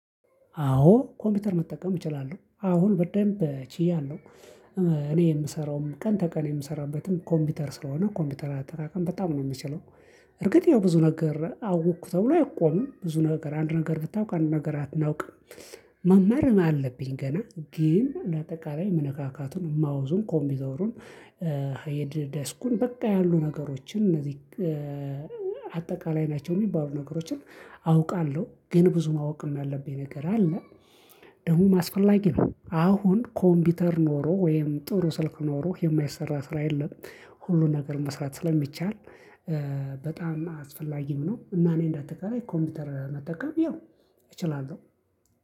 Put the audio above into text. አዎ ኮምፒውተር መጠቀም እችላለሁ አሁን በደንብ ችያለሁ። እኔ የምሰራውም ቀን ተቀን የምሰራበትም ኮምፒውተር ስለሆነ ኮምፒውተር አጠቃቀም በጣም ነው የምችለው። እርግጥ ያው ብዙ ነገር አወቅኩ ተብሎ አይቆምም ብዙ ነገር አንድ ነገር ብታውቅ አንድ ነገር አናውቅም። መማር አለብኝ ገና ግን እንደ አጠቃላይ መነካካቱን ማውዙን ኮምቢተሩን። ዴስኩን በቃ ያሉ ነገሮችን እነዚህ አጠቃላይ ናቸው የሚባሉ ነገሮችን አውቃለሁ። ግን ብዙ ማወቅ ያለብኝም ነገር አለ። ደግሞም አስፈላጊ ነው አሁን ኮምፒውተር ኖሮ ወይም ጥሩ ስልክ ኖሮ የማይሰራ ስራ የለም። ሁሉን ነገር መስራት ስለሚቻል በጣም አስፈላጊም ነው። እና እኔ እንደአጠቃላይ ኮምፒውተር መጠቀም ይኸው እችላለሁ